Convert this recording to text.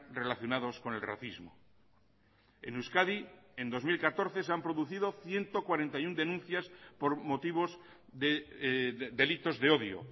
relacionados con el racismo en euskadi en dos mil catorce se han producido ciento cuarenta y uno denuncias por motivos delitos de odio